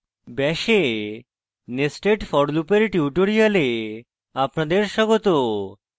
bash এ nested for loop এর tutorial আপনাদের স্বাগত